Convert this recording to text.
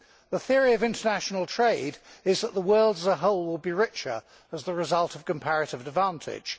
The theory of international trade is that the world as a whole will be richer as the result of comparative advantage.